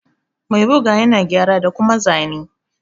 Mai ɓuga ƴana gƴara da kuma zane.